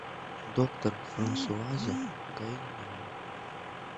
доктор франсуаза гайян